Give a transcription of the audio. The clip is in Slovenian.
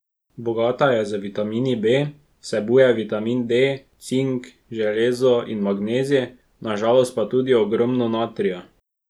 Bogata je z vitamini B, vsebuje vitamin D, cink, železo in magnezij, na žalost pa tudi ogromno natrija.